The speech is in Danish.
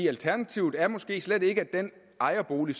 alternativet er måske slet ikke at den ejerbolig